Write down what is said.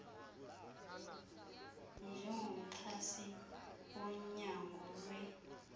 njengomxhasi wonyango lwe